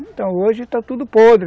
Então hoje está tudo podre.